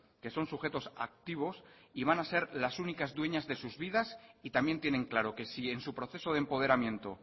que son sujetos activos y van ha ser las únicas dueñas de sus vidas y también tienen claro que si en su proceso de empoderamiento